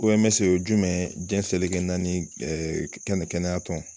O-M-S o ye jumɛn mɛn ye? Jiɲɛ selege naani ɛɛ kɛnɛ kɛnɛya tɔn.